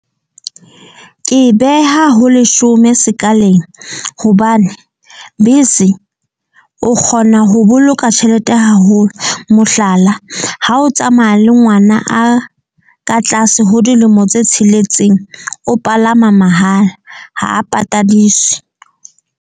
Ke e beha ho leshome sekaleng hobane bese o kgona ho boloka tjhelete haholo. Mohlala, ha o tsamaya le ngwana a ka tlase ho dilemo tse tsheletseng, o palama mahala, ha a patadiswe.